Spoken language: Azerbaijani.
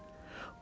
Neynəsin?